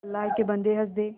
अल्लाह के बन्दे हंस दे